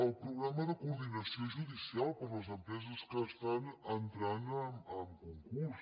el programa de coordinació judicial per a les empreses que estan entrant a concurs